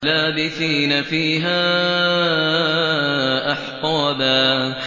لَّابِثِينَ فِيهَا أَحْقَابًا